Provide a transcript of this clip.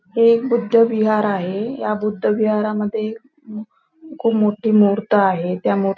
हे बुद्ध विहार आहे ह्या बुद्ध विहारा मध्ये खूप मोठी मूर्त आहे त्या मु--